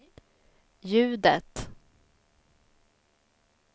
ljudet